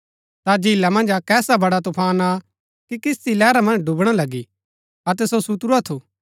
ता झीला मन्ज अक्क ऐसा बड़ा तूफान आ कि किस्ती लैहरा मन्ज डुबणा लगी अतै सो सुतुरा थु